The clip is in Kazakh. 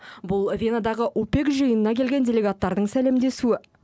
бұл венадағы упек жиынына келген делегаттардың сәлемдесуі